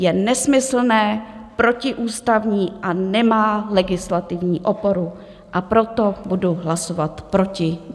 Je nesmyslné, protiústavní a nemá legislativní oporu, a proto budu hlasovat proti.